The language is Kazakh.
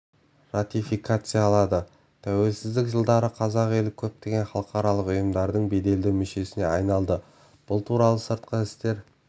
ратификациялады тәуелсіздік жылдары қазақ елі көптеген халықаралық ұйымдардың беделді мүшесіне айналды бұл туралы сыртқы істер